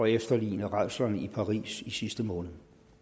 efterligne rædslerne i paris i sidste måned